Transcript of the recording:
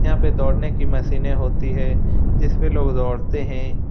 यहाँ पे दौड़ने की मशीने होती है जिस पे लोग दौड़ते हैं |